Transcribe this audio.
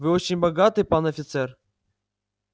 вы очень богаты пан офицер